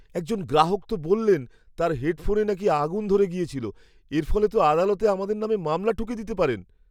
একজন গ্রাহক তো বললেন তাঁর হেডফোনে নাকি আগুন ধরে গিয়েছিলো! এর ফলে তো আদালতে আমাদের নামে মামলা ঠুকে দিতে পারেন!